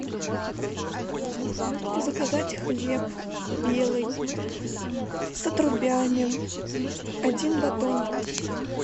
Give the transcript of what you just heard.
заказать хлеб белый с отрубями один батон